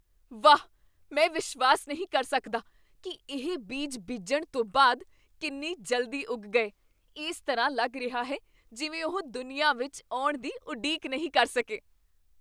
ਵਾਹ, ਮੈਂ ਵਿਸ਼ਵਾਸ ਨਹੀਂ ਕਰ ਸਕਦਾ ਕੀ ਇਹ ਬੀਜ ਬੀਜਣ ਤੋਂ ਬਾਅਦ ਕਿੰਨੀ ਜਲਦੀ ਉੱਗ ਗਏ। ਇਸ ਤਰ੍ਹਾਂ ਲੱਗ ਰਿਹਾ ਹੈ ਜਿਵੇਂ ਉਹ ਦੁਨੀਆ ਵਿੱਚ ਆਉਣ ਦੀ ਉਡੀਕ ਨਹੀਂ ਕਰ ਸਕੇ!